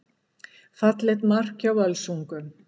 Fallegt mark hjá Völsungum.